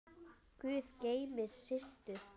Guð geymi Systu.